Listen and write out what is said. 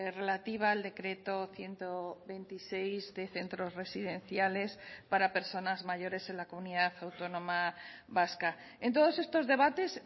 relativa al decreto ciento veintiséis de centros residenciales para personas mayores en la comunidad autónoma vasca en todos estos debates